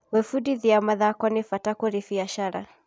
Gwĩbundithia wĩgiĩ mathoko nĩ bata kũrĩ biashara.